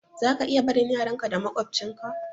Zaka iya barin yaran ka da maƙwabtcin ka